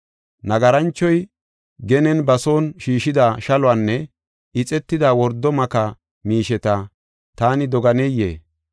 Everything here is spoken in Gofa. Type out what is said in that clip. Nagaranchoy genen ba son shiishida shaluwanne ixetida wordo maka miisheta taani doganeyee?